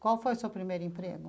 Qual foi o seu primeiro emprego?